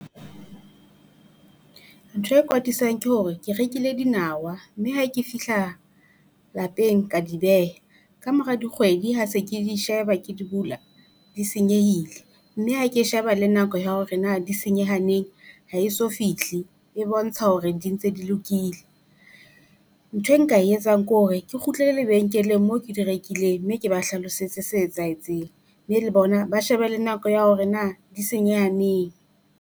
Ntho e kwatisang ke hore ke rekile dinawa, mme ha ke fihla lapeng ka di beha, kamora dikgwedi ha se ke di sheba ke di bula, di senyehile. Mme ha ke sheba le nako ya hore na di senyeha neng ha eso fihle, e bontsha hore di ntse di lokile. Nthwe nka e etsang ke hore ke kgutlele lebenkeleng moo ke di rekileng, mme ke ba hlalosetse se etsahetseng, mme le bona ba shebe le nako ya hore na di senyeha neng.